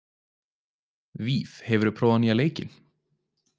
Víf, hefur þú prófað nýja leikinn?